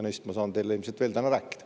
Neist ma saan teile ilmselt täna veel rääkida.